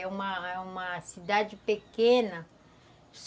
É uma é uma cidade pequena.